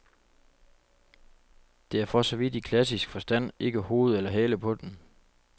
Der er for så vidt i klassisk forstand ikke hoved eller hale på den.